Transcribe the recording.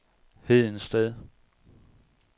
Hedensted